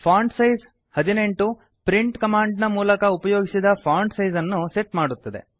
font size 18 print ಕಮಾಂಡಿನ ಮೂಲಕ ಉಪಯೋಗಿಸಿದ ಫಾಂಟ್ ಸೈಜ್ ಅನ್ನು ಸೆಟ್ ಮಾಡುತ್ತದೆ